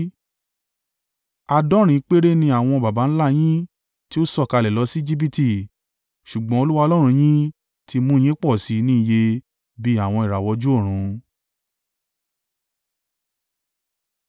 Àádọ́rin péré ni àwọn baba ńlá a yín tí ó sọ̀kalẹ̀ lọ sí Ejibiti, ṣùgbọ́n Olúwa Ọlọ́run yín ti mú un yín pọ̀ sí i ní iye bí àwọn ìràwọ̀ ojú ọ̀run.